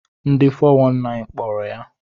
Ndi 419 kpọrọ ya.